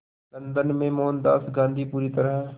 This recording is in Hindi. लंदन में मोहनदास गांधी पूरी तरह